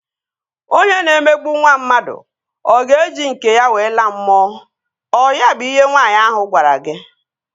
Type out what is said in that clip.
Onye na-emegbu nwa mmadụ, ọ ga-eji nke ya wee laa mmụọ? Ọ ya bụ ihe nwaanyị ahu gwara gị?